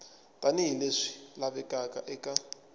tani hi leswi lavekaka eka